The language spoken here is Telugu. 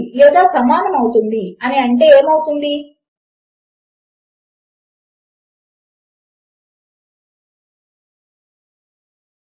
నాకు ఖచ్చితముగా నమ్మకము లేదు కానీ నాకు తెలిసినంత వరకు అది నా కీ బోర్డ్ లో షిఫ్ట్ కీ ప్రక్కన రెండు వరుస లైన్లుగా ఉంటుంది మరియు దాని అర్ధము ఓర్ అవుతుంది